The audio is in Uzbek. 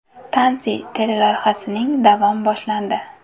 Tansi” teleloyihasining davom boshlandi.